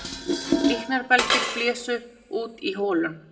Líknarbelgir blésu út í holunum